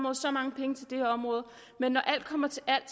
og så mange penge til det område men når alt kommer til alt